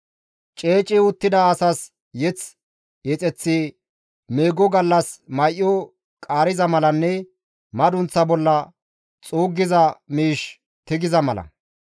Ceeci uttida asas mazamure yexeththi meego gallas may7o qaariza malanne madunththa bolla xuuggiza miish tigiza mala.